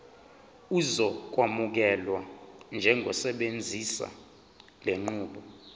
uzokwamukelwa njengosebenzisa lenqubo